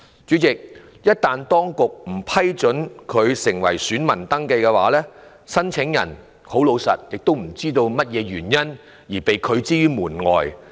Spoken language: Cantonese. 主席，一旦當局不批准該界別的選民登記，申請人會否知道為何被拒諸門外？